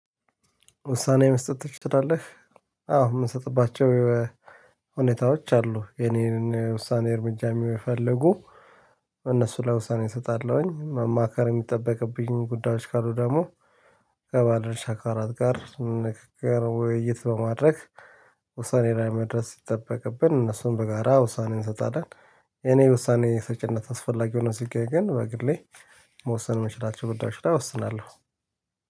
ውሳኔ መስጠት ትችላለህ? አዎ የምሰጥባቸው ሁኔታዎች አሉ። የኔን ውሳኔ እርምጃ የምፈልጉ እነሱ ለይ ውሳኔ እሰጣለሁኝ። መማከር የሚጠበቅብኝ ጉዳዮች ካሉ ደግሞ ከባለድረሻ አካላት ጋር ንግግር ውይይት በማድረግ ውሳኔን ላይ መድረስ ሲጠበቅብን እነሱን በጋራ ውሳኔን እንሰጣለን። እኔ ውሳኔ ሰጪነት አስፈላጊ ሆኖ ሲገኝ ግን በግሌ መወሰን የምችላቸው ጉዳዮች ላይ እወስናለሁ